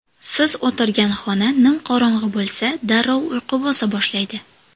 Siz o‘tirgan xona nimqorong‘i bo‘lsa, darrov uyqu bosa boshlaydi.